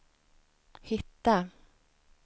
hitta